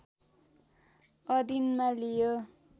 अधीनमा लियो